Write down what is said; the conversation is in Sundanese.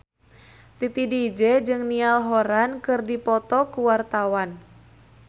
Titi DJ jeung Niall Horran keur dipoto ku wartawan